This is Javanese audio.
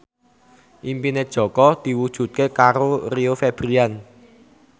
impine Jaka diwujudke karo Rio Febrian